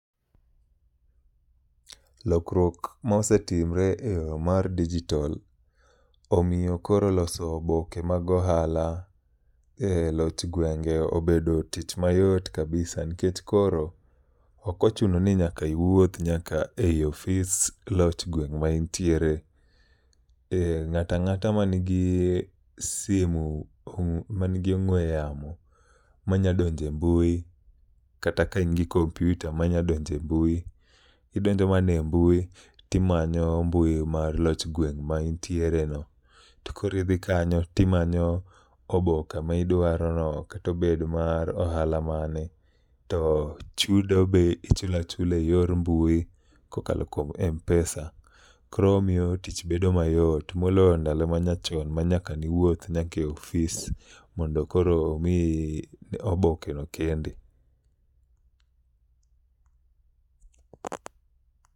Lokruok ma osetimre e yo mar dijitol omiyo koro loso oboke mag ohala e loch gwenge obedo tich mayot kabisa nkech koro okochuno ni nyaka iwuoth nyaka e i ofis loch gweng' ma intiere. E, ng'ata ng'ata ma nigi simu ma nigi ong'we yamo manyadonje mbui kata ka in gi kompyuta manya donje mbui, idonjo mane mbui timanyo mbui mar loch gweng' ma intiere no. To koro idhi kanyo timanyo oboke ma idwaro no katobed mar ohala mane. To chudo be ichula chula e yor mbui kokalo kuom Mpesa, koro omiyo tich bedo mayot. Moloyo ndalo manyachon ma nyaka niwuoth nyaka e ofis mondo koro mi oboke no kendi.